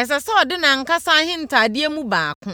ɛsɛ sɛ ɔde nʼankasa ahentadeɛ mu baako